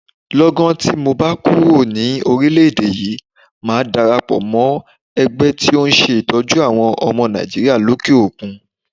Lọ́gán tí mobá kúròní orílẹ̀ èdè yí, màá darapọ̀ mọ́ ẹgbẹ́ tí ohun ṣe Ìtọ́jú àwọn ọmọ Nàìjíríà lókè òkun.